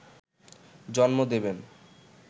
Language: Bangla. জন্ম দেবেন